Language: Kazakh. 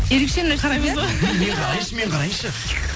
ерекшені қараймыз ғой мен қарайыншы мен қарайыншы